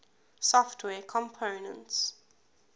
software components